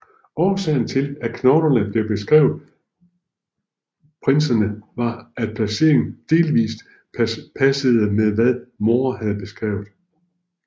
Årsagen til at knoglerne blev tilskrevet prinserne var at placeringen delvist passede med hvad More havde beskrevet